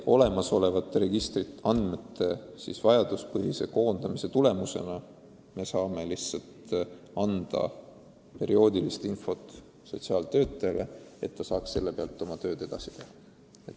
Olemasolevate registriandmete vajaduspõhise koondamise tulemusena me saame lihtsalt anda perioodilist infot sotsiaaltöötajatele, et nad saaks selle abil oma tööd paremini teha.